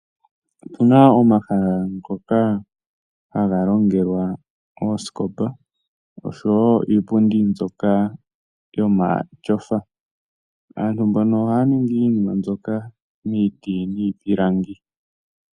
Otuna omahala ngoka haga longelwa oosikopa oshowo iipundi mbyoka yomatyofa. Aantu mbono ohaya ningi iinima mbyoka miiti yiipilangi.